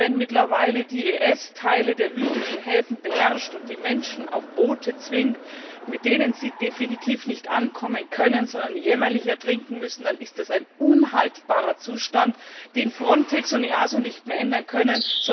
Denn wenn mittlerweile der IS Teile der libyschen Häfen beherrscht und die Menschen auf Boote zwingt, mit denen sie definitiv nicht ankommen können, sondern jämmerlich ertrinken müssen, dann ist das ein unhaltbarer Zustand, den Frontex und EASO nicht mehr ändern können